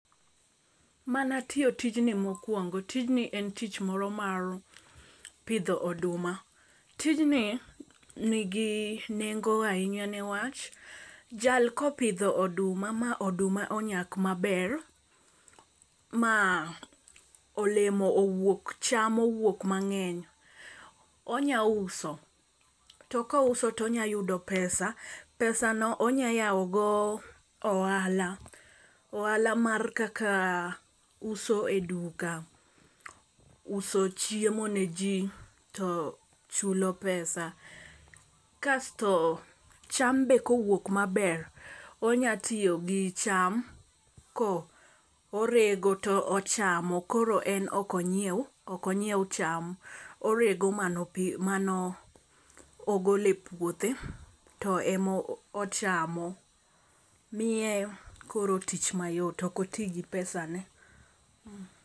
Mana tiyo tijni mokuongo tijni en tich moro mar pidho oduma. Tijni nigi nengo ahinya newach jal kopidho oduma ma oduma onyak maber, ma olemo owuok cham owuok mang'eny, onya uso. To kouso tonya yudo pesa pesano onya yawo go ohala ohala mar kaka uso e duka, uso chiemo ne jii to chulo pesa. Kasto cham ber kowuok maber onya tiyo gi cham ko orego to ochamo, koro en ok onyiew ok onyiew cham orego mano manogole puothe to emochamo, miye koro tich mayot ok otii gi pesane.